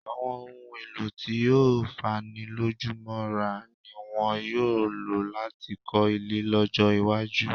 Àwọn ohun-èèlò tí ó fanilójúmọ́ra ni wọn yóò lò láti kọ́ ilé lọ́jọ́-iwájú.